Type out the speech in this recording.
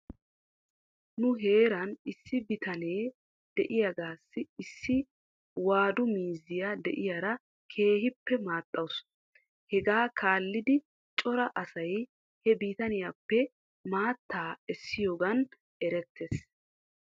Nu heeran issi bitane de'iyaagaasi issi waadu miizziyaa diyaara keehippe maaxxawus. Hegaa kaallidi cora asay he bitaniyaappe maattaa essiyoogan erettes.